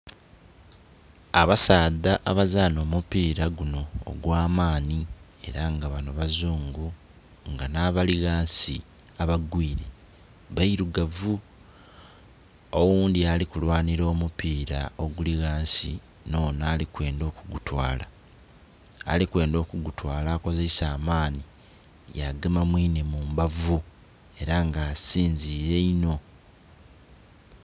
Abasaadha abazana omupira guno ogwamani era nga bano bazungu nga nabali ghansi abagwiire bairugavu oghundhi alikulwanira omupira oguli ghansi nhono alikwendha okugutwala, alikwendha okugutwala akozesa amani yagema mwiine mumbavu era nga asinzire inho.